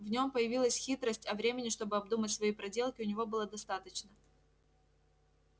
в нем появилась хитрость а времени чтобы обдумать свои проделки у него было достаточно